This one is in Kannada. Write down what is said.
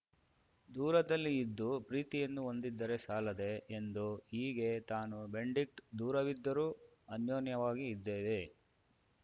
ದೂರದಲ್ಲಿ ಇದ್ದು ಪ್ರೀತಿಯನ್ನು ಹೊಂದಿದ್ದರೆ ಸಾಲದೇ ಎಂದು ಹೀಗೆ ತಾನೂ ಬೆನ್ಡಿಕ್ಟ್ ದೂರವಿದ್ದರೂ ಅನ್ಯೋನ್ಯವಾಗಿ ಇದ್ದೇವೆ